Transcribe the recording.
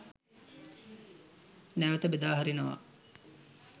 නැවත බෙදා හරිනවා.